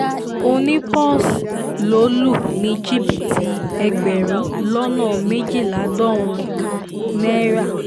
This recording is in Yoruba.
òní pọ́s ló lù ní jìbìtì ẹgbẹ̀rún lọ́nà méjìdínláàádọ́rùn-ún náírà